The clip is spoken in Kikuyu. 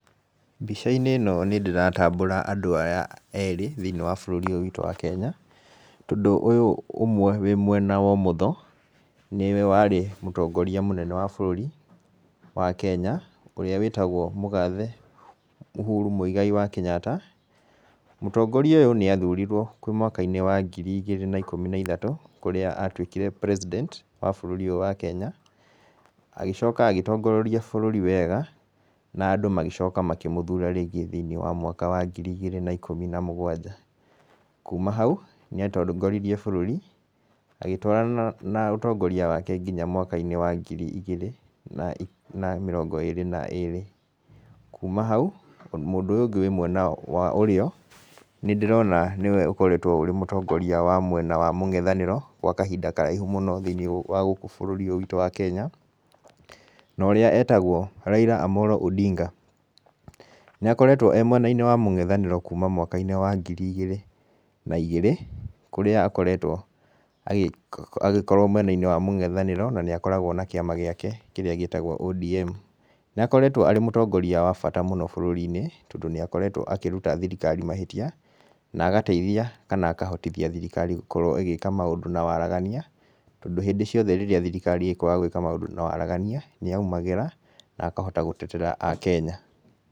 Mbica-inĩ ĩno nĩ ndĩratambũra andũ aya erĩ, thĩiniĩ wa bũrũri ũyũ witũ wa Kenya. Tondũ ũyũ ũmwe wĩ mwena wa ũmotho, nĩwe warĩ mũtongoria mũnene wa bũrũri, wa Kenya, ũrĩa wĩtagwo mũgathe Uhuru Muigai wa Kenyatta. Mũtongoria ũyũ nĩ athurirwo kwĩ mwaka-inĩ wa ngiri igĩrĩ na ikũmi na ithatũ, kũrĩa atuĩkire president wa bũrũri ũyũ wa Kenya. Agĩcoka agĩtongoria bũrũri wega, na andũ magĩcoka makĩmũthura rĩngĩ thĩiniĩ wa mwaka wa ngiri igĩrĩ na ikũmi na mũgwanja. Kuuma hau, nĩ atongoririe bũrũri, agĩtwarana na ũtongoria wake nginya mwaka-inĩ wa ngiri igĩrĩ na na mĩrongo ĩĩrĩ na ĩĩrĩ. Kuuma hau, mũndũ ũyũ ũngĩ wĩ mwena wa ũrĩo, nĩ ndĩrona nĩwe ũkoretwo ũrĩ mũtongoria wa mwena wa mũng'ethanĩro, gwa kahinda karaihu mũno thĩiniĩ wa gũkũ bũrũri ũyũ witũ wa Kenya. Na ũrĩa etagwo Raila Omollo Odinga. Nĩ akoretwo e mwena-inĩ wa mũng'ethanĩro kuuma mwaka-inĩ wa ngiri igĩrĩ na igĩrĩ, kũrĩa akoretwo agĩkorwo mwena-inĩ wa mũng'ethanĩro, na nĩ akoragwo na kĩama gĩake kĩrĩa gĩtagwo ODM. Nĩ akoretwo arĩ mũtongoria wa bata mũno bũrũri-inĩ, tondũ nĩ akoretwo akĩruta thirikari mahĩtia, na agateithia kana akahotithia thirikari gũkorwo ĩgĩka maũndũ na waragania, tondũ hĩndĩ ciothe rĩrĩa thirikari ĩkwaga gwĩka maũndũ na waragania, nĩ aumagĩra, na akahota gũtetera Akenya.